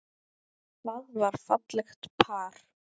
Það var fallegt par.